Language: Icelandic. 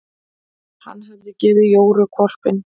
Hann hafði gefið Jóru hvolpinn.